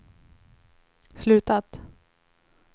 slutat